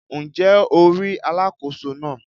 Ǹ jé o rí Alákóso náà